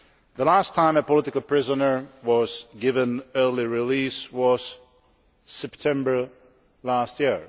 The last time a political prisoner was given early release was September last year.